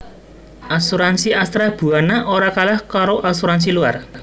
Asuransi Astra Buana ora kalah karo asuransi luar